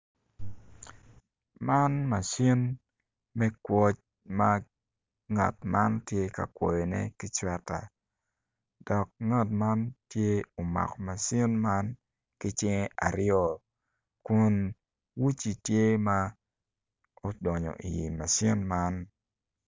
Man macin kono odongo mabeco adada pot anyogi man kono tye rangi ma alum kicinge aryo alum anyogi miyo itwa cam i yo mapol maclo moko gudonyo i machine man.